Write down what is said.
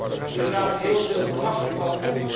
Ik heb daar inderdaad heel veel verwachtingen van.